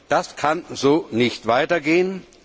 Das kann so nicht weitergehen.